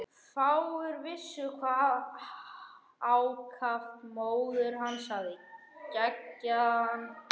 Fáir vissu hve ákaft móðir hans hafði eggjað hann.